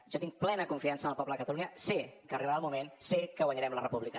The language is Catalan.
jo tinc plena confiança en el poble de catalunya sé que arribarà el moment sé que guanyarem la república